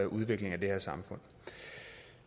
udvikling af det her samfund